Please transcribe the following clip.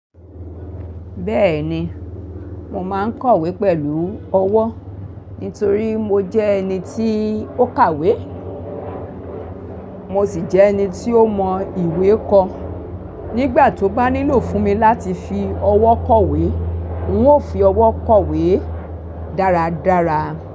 Bẹ́ẹ̀ni, mo máa ń kọ̀wé pẹ̀lú ọwọ́ nítorí mo jẹ́ ẹni tí ó kàwé, mo sì jẹ́ ẹni tí ó mọ ìwé kọ. Nígbà tó bá nílò fún mi láti fi ọwọ́ kọ̀wé, ń ó fi ọwọ́ kọ̀wé dáradára.